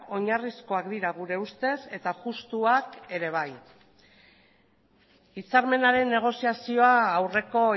oinarrizkoak dira gure ustez eta justuak ere bai hitzarmenaren negoziazioa aurreko